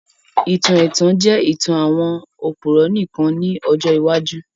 Ìtàn ètàn jẹ ìtàn àwon òpùrọ́ nìkan ni ọjọ́ iwájú